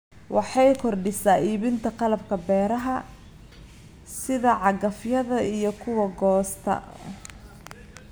Waxay kordhisaa iibinta qalabka beeraha, sida cagafyada iyo kuwa goosta.